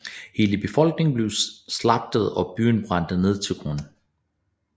Hele befolkningen blev slagtet og byen brændte ned til grunden